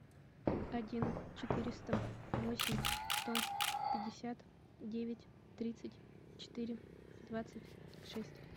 один четыреста восемь сто пятьдесят девять тридцать четыре двадцать шесть